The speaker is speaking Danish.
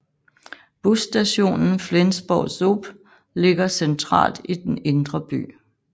Busstationen Flensborg ZOB ligger centralt i den indre by